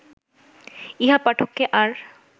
ইহা পাঠককে আর